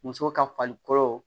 Muso ka falikolo